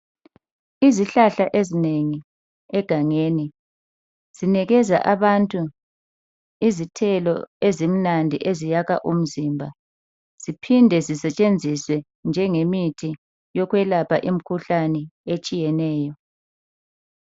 Izihlahla ezinengi egangeni zinikeza abantu izithelo ezimnandi eziyakha umzimba ziphinde zisetshenziswe njengemithi yokwelapha imkhuhlane etshiyeneyo.